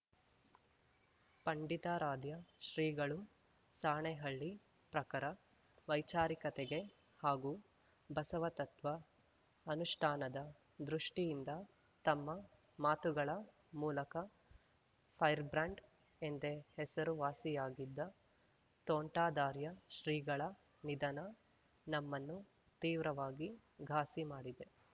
ಪಂಡಿತಾರಾಧ್ಯ ಶ್ರೀಗಳು ಸಾಣೆಹಳ್ಳಿ ಪ್ರಖರ ವೈಚಾರಿಕತೆಗೆ ಹಾಗೂ ಬಸವತತ್ವ ಅನುಷ್ಠಾನದ ದೃಷ್ಟಿಯಿಂದ ತಮ್ಮ ಮಾತುಗಳ ಮೂಲಕ ಫೈರ್‌ ಬ್ರಾಂಡ್‌ ಎಂದೇ ಹೆಸರುವಾಸಿಯಾಗಿದ್ದ ತೋಂಟದಾರ್ಯ ಶ್ರೀಗಳ ನಿಧನ ನಮ್ಮನ್ನು ತೀವ್ರವಾಗಿ ಘಾಸಿ ಮಾಡಿದೆ